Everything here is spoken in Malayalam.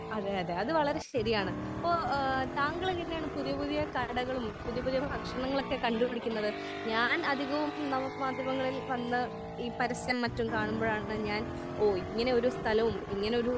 അതെ അതെ അത് വളരെ ശരിയാണ്. ഇപ്പോൾ ഏഹ് താങ്കൾ എങ്ങനെയാണ് പുതിയ പുതിയ കാരണങ്ങളും പുതിയ പുതിയ ഭക്ഷണങ്ങളൊക്കെ കണ്ടു പിടിക്കുന്നത്? ഞാൻ അധികവും നമുക്ക് മാധ്യമങ്ങളിൽ വന്ന ഈ പരസ്യം മറ്റും കാണുമ്പഴാണ് ഞാൻ ഓഹ് ഇങ്ങനെ ഒരു